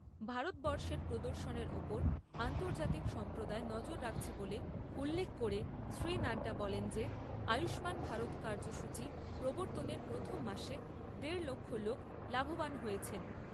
ভারতবর্ষের প্রদর্শনের ওপর আন্তজার্তিক সম্প্রদায় নজর রাখছে বলে উল্লেখ করে শ্রী নাড্ডা বলেন যে আয়ুষ্মান ভারত কার্যসূচী প্রবর্তনের প্রথম মাসে দেড় লক্ষ লোক লাভবান হয়েছেন।